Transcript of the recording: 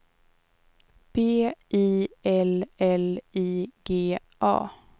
B I L L I G A